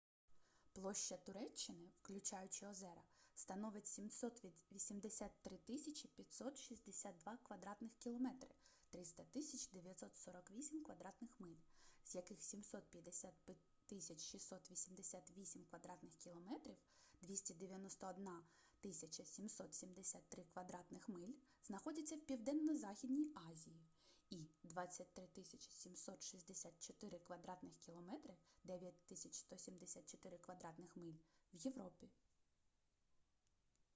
площа туреччини включаючи озера становить 783 562 кв. км 300 948 кв. миль з яких 755 688 кв. км 291 773 кв. миль знаходяться в південно-західній азії і 23 764 кв. км 9 174 кв. миль — в європі